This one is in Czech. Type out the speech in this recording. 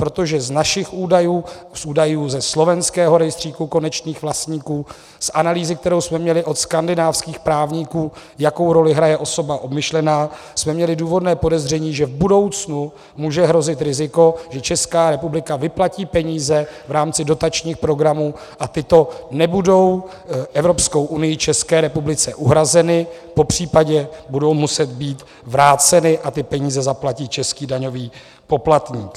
Protože z našich údajů a z údajů ze slovenského rejstříku konečných vlastníků, z analýzy, kterou jsme měli od skandinávských právníků, jakou roli hraje osoba obmyšlená, jsme měli důvodné podezření, že v budoucnu může hrozit riziko, že Česká republika vyplatí peníze v rámci dotačních programů a tyto nebudou Evropskou unií České republice uhrazeny, popřípadě budou muset být vráceny a ty peníze zaplatí český daňový poplatník.